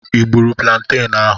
I gburu planten ahụ?